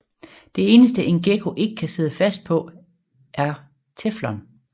Det eneste en gekko ikke kan sidde fast på er teflon